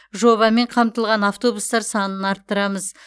жобамен қамтылған автобустар санын арттырамыз